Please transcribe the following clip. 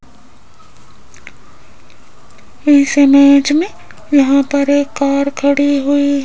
इस इमेज में यहां पर एक कार खड़ी हुई --